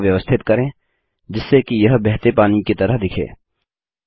वक्र को व्यवस्थित करें जिससे कि यह बहते पानी की तरह दिखे